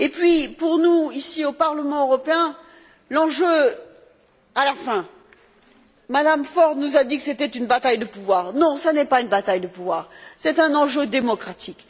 Enfin, pour nous, ici, au Parlement européen, l'enjeu, au fond Mme Ford nous a dit que c'était une bataille de pouvoir non, ce n'est pas une bataille de pouvoir c'est un enjeu démocratique.